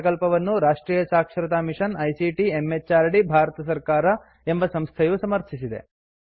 ಈ ಪ್ರಕಲ್ಪವನ್ನು ರಾಷ್ಟ್ರೀಯ ಸಾಕ್ಷರತಾ ಮಿಷನ್ ಐಸಿಟಿ ಎಂಎಚಆರ್ಡಿ ಭಾರತ ಸರ್ಕಾರ ಎಂಬ ಸಂಸ್ಥೆಯು ಸಮರ್ಥಿಸಿದೆ